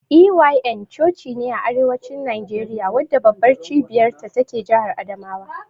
EYN cocine a arewacin Nageriya wadda babbar cibiyar ta take jahar adamawa.